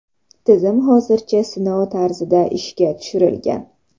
Tizim hozircha sinov tarzida ishga tushirilgan.